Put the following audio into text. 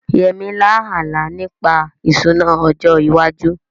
Yemi lá àlá nípa ìṣúná ọjọ́ iwájú